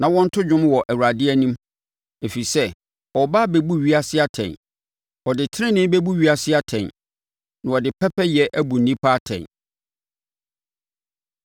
ma wɔnto dwom wɔ Awurade anim, ɛfiri sɛ ɔreba abɛbu ewiase atɛn. Ɔde tenenee bɛbu ewiase atɛn na ɔde pɛpɛyɛ abu nnipa atɛn.